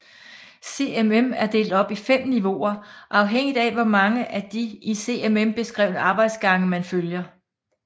CMM er delt op i 5 niveauer afhængigt af hvor mange af de i CMM beskrevne arbejdsgange man følger